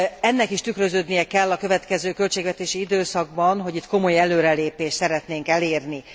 Ennek is tükröződnie kell a következő költségvetési időszakban, hogy itt komoly előrelépést szeretnénk elérni.